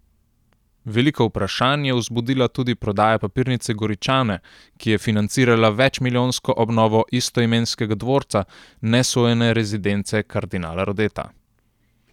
Veliko vprašanj je vzbudila tudi prodaja papirnice Goričane, ki je financirala večmilijonsko obnovo istoimenskega dvorca, nesojene rezidence kardinala Rodeta.